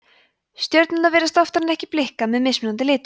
stjörnurnar virðast oftar en ekki blikka með mismunandi litum